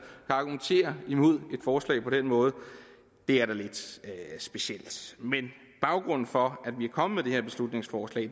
kan argumentere imod et forslag på den måde er da lidt specielt baggrunden for at vi er kommet med det her beslutningsforslag